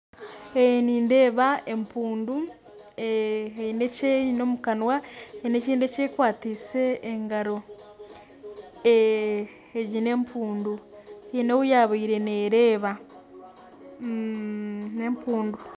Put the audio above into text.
Nindeeba empundu haine eki eine omu kanwa kandi haine ekindi ekyekwatsire omu ngaro, egi n'empundu haine ou yaabaire neereeba